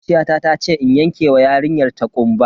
Makociyata tace in yanke wa yarinyar ta kumba.